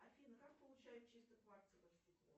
афина как получают чистое кварцевое стекло